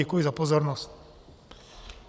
Děkuji za pozornost.